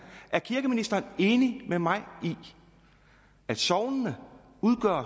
er kirkeministeren enig med mig i at sognene